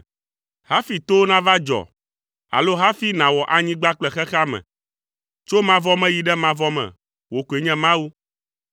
Hafi towo nava dzɔ, alo hafi nàwɔ anyigba kple xexea me, tso mavɔ me yi ɖe mavɔ me, wò koe nye Mawu.